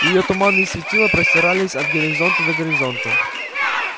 её туманные светила простирались от горизонта до горизонта